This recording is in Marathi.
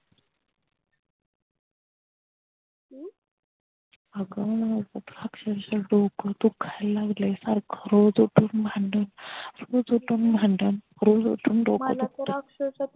अगं अक्षरशः डोकं दुखायला लागलंय सारखं रोज उठून भांडण रोज उठून भांडण रोज उठून डोकं दुखते